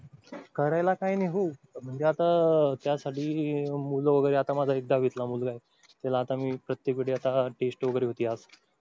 करायला काय नाही हो, म्हणजे आता त्यासाठी मूळ वगैरे आता माझा दहावीतील मुलगा आहे. त्याला आता मी प्रत्येक वेळी test वगैरे होती आज.